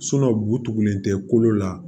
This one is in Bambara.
bu tugulen tɛ kolo la